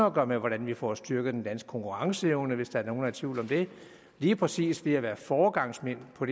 at gøre med hvordan vi får styrket den danske konkurrenceevne hvis der er nogle i tvivl om det lige præcis ved at være foregangsmænd på